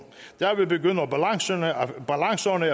derved begynder balancerne